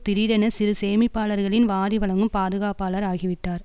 திடீரென சிறு சேமிப்பாளர்களின் வாரிவழங்கும் பாதுகாப்பாளர் ஆகிவிட்டார்